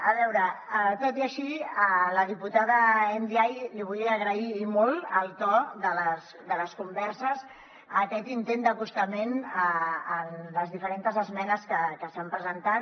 a veure tot i així a la diputada ndiaye li vull agrair i molt el to de les converses aquest intent d’acostament en les diferents esmenes que s’han presentat